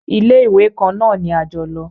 Ilé-ìwé kan náà ni a jọ lọ.